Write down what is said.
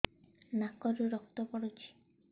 ନାକରୁ ରକ୍ତ ପଡୁଛି